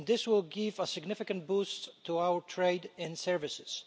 This will give a significant boost to our trade and services.